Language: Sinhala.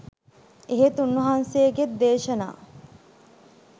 එහෙත් උන්වහන්සේගේත් දේශනා